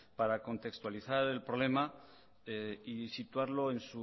para contextualizar el problema y situarlo en